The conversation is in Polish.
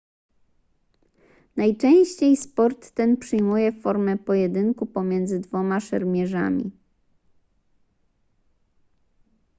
najczęściej sport ten przyjmuje formę pojedynku pomiędzy dwoma szermierzami